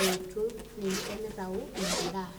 oitu ninche mitayu ina daa.